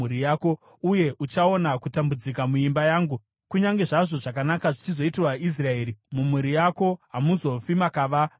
uye uchaona kutambudzika muimba yangu. Kunyange zvazvo zvakanaka zvichizoitirwa Israeri, mumhuri yako hamuzofi makava nomutana.